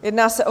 Jedná se o